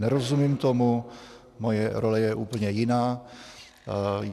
Nerozumím tomu, moje role je úplně jiná.